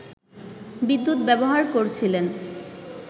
বিদ্যুৎ ব্যবহার করছিলেন